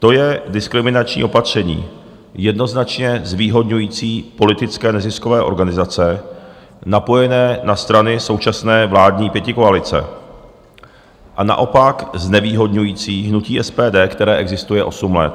To je diskriminační opatření jednoznačně zvýhodňující politické neziskové organizace napojené na strany současné vládní pětikoalice a naopak znevýhodňující hnutí SPD, které existuje osm let.